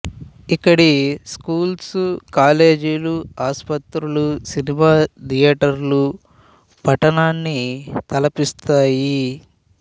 ఇక్కడి స్కూల్స్ కాలేజీలు ఆసుపత్రులు సినిమా థియేటర్లు పట్టణాన్ని తలపిస్తాయి